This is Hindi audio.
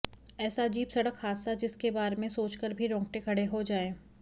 ऐसा अजीब सड़क हादसा जिसके बारे में सोचकर भी रोंगटे खड़े हो जाएं